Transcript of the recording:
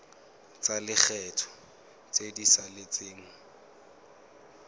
tsa lekgetho tse di saletseng